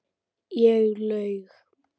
Ég laug.